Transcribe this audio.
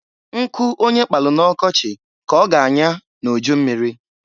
Nkụ onye kpalụ na ọkọchị ka ọ ga anyọ n'ujummiri.